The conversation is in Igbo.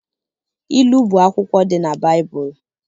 Ilu bụ akwụkwọ dị na Baịbụl